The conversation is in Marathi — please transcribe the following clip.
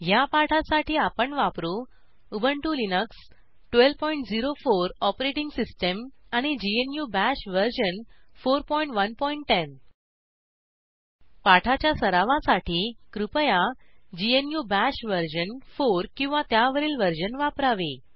ह्या पाठासाठी आपण वापरू उबंटु लिनक्स 1204 ओएस आणि ग्नू बाश वर्जन 4110 पाठाच्या सरावासाठी कृपया ग्नू बाश वर्जन 4 किंवा त्यावरील वर्जन वापरावे